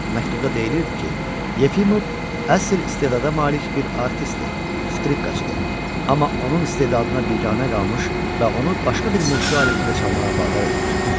Məktubda deyilirdi ki, Yefimov əsl istedada malik bir artistdir, skripkaçı, amma onun istedadına biganə qalmış və onu başqa bir musiqi alətində çalmağa vadar etmişlər.